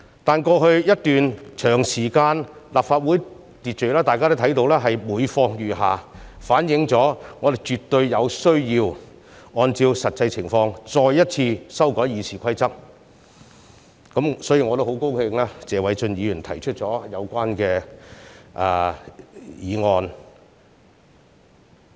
但是，在過去一段長時間裏，大家也看到立法會秩序是每況愈下，反映我們絕對有需要按照實際情況再一次修改《議事規則》，所以我也很高興看到謝偉俊議員提出有關議案。